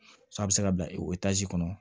a bɛ se ka bila kɔnɔ